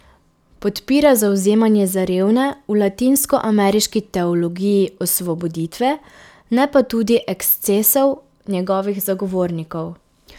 Podpira zavzemanje za revne v latinskoameriški teologiji osvoboditve, ne pa tudi ekscesov njegovih zagovornikov.